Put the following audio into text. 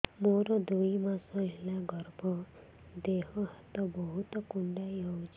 ମୋର ଦୁଇ ମାସ ହେଲା ଗର୍ଭ ଦେହ ହାତ ବହୁତ କୁଣ୍ଡାଇ ହଉଚି